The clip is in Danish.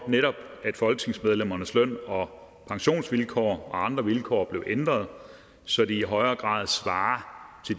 at folketingsmedlemmernes løn og pensionsvilkår og andre vilkår blev ændret så de i højere grad svarer